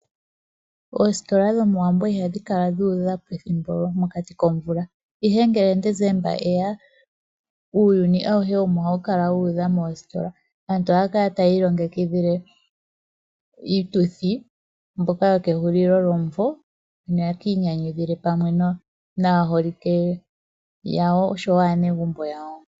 Oostola dhomoWambo ihadhi kala dhu udha mokati komvula , ihe ngele Desemba eya uuyuni auhe omo hawu kala Wu udha moostola, aantu ohaya kala tayi longekidhile iituthi mbyoka yo kehulilo lyomvo noya kanyanyukwile pamwe naaholike yawo oshowo aanegumbo yawo.